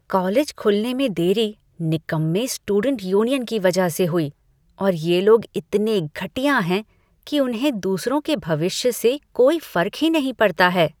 College खुलने में देरी निकम्मे स्टूडेंट यूनियन की वजह से हुई और ये लोग इतने घटिया हैं कि उन्हें दूसरों के भविष्य से कोई फर्क ही नहीं पड़ता है।